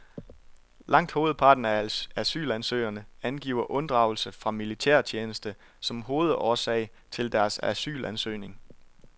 Langt hovedparten af asylansøgerne angiver unddragelse fra militærtjeneste som hovedårsag til deres asylansøgning.